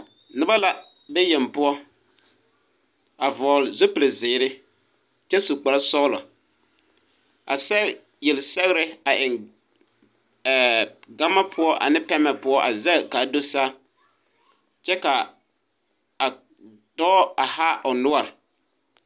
Noba la ve yeŋ poɔ a vɔgle zipilzeere kyɛ su kparesɔglɔ a sɛge yelsɛgre a eŋ ee gama poɔ ane pɛmɛ poɔ zɛge kaa do saa kyɛ kaa a dɔɔ a haa o noɔre.